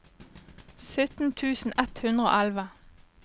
sytten tusen ett hundre og elleve